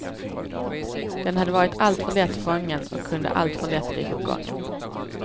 Den hade varit alltför lätt fången och kunde alltför lätt bli förgången.